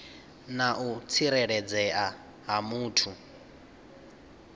na u tsireledzea ha muthu